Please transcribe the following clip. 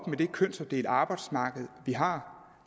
med det kønsopdelte arbejdsmarked vi har